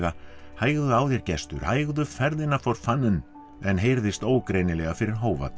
hægðu á þér Gestur hægðu ferðina for fanden en heyrðist ógreinilega fyrir